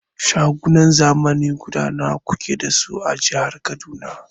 Shagunan zamani guda nawa kuke dashi a jihar Kaduna?